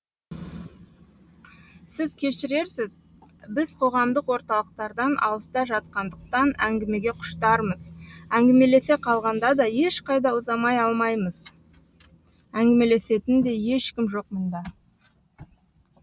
сіз кешірерсіз біз қоғамдық орталықтардан алыста жатқандықтан әңгімеге құштармыз әңгімелесе қалғанда да ешқайда ұзмаай алмаймыз әңгімелесетін де ешкім жоқ мұнда